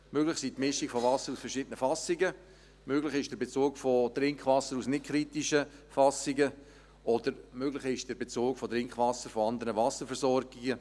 Möglich ist die Mischung von Wasser aus verschiedenen Fassungen, möglich ist der Bezug aus nicht kritischen Fassungen oder möglich ist der Bezug von Trinkwasser von anderen Wasserversorgungen.